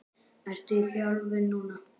Ertu í þjálfun núna?